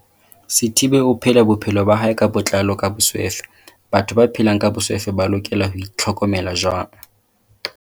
Sithibe o phela bophelo ba hae ka botlalo ka boswefe Batho ba phelang ka boswefe ba lokela ho itl hokomela jwang?